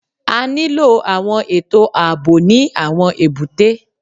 A nílò àwọn ètò ààbò ní àwọn èbúté.